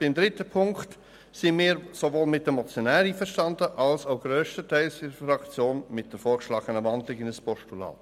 Beim dritten Punkt sind wir sowohl mit den Motionären einverstanden als auch mehrheitlich mit der vorgeschlagenen Wandlung in ein Postulat.